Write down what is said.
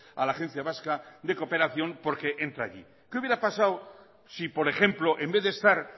a la agencia vasca de cooperación porque entra allí qué hubiera pasado si por ejemplo en vez de estar